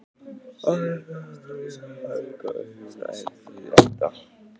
Agnes er sú sem vinnur með Helga en hin heitir Edda.